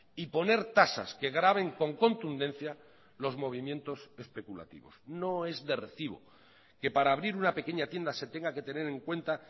y poner tasas que graven con contundencia los movimientos especulativos no es de recibo que para abrir una pequeña tienda se tenga que tener en cuenta